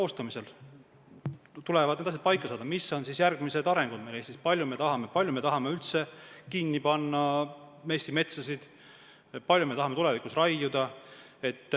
Seal tuleb need asjad paika saada, mis on meil Eestis järgmised arengusuunad, kui palju me tahame üldse metsa kinni panna, kui palju me tahame tulevikus raiuda.